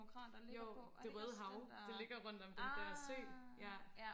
jo det røde hav det ligger rundt om den der sø ja